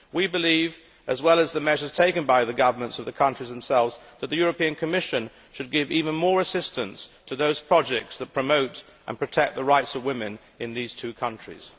We believe that, as well as the measures taken by the governments of the countries themselves, the Commission should give even more assistance to those projects that promote and protect the rights of women in these two countries.